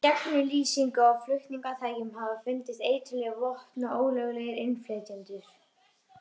Með gegnumlýsingu á flutningatækjum hafa fundist eiturlyf, vopn og ólöglegir innflytjendur.